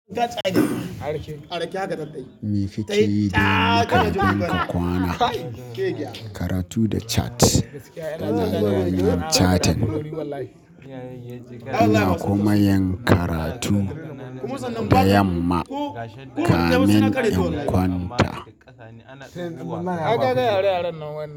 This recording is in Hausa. Mafi ci yi da kayan yanka kwana, karatu da cat, tana yawan yin catin. Ina kuma yin karatu da yamma, kamin in kwanta.